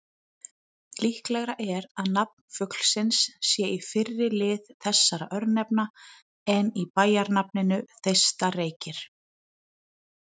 Líklegra er að nafn fuglsins sé í fyrri lið þessara örnefna en í bæjarnafninu Þeistareykir.